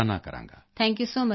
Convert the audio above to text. thank you so much ਸਿਰ